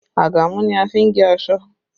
Àgàmú ni a fi n gé aṣọ